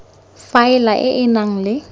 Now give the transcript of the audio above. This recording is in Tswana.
faela e e nang le